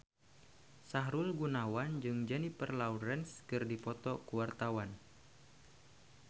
Sahrul Gunawan jeung Jennifer Lawrence keur dipoto ku wartawan